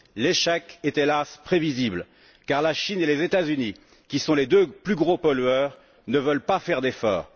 L'échec est hélas prévisible car la Chine et les États Unis, qui sont les deux plus gros pollueurs, ne veulent pas faire d'efforts.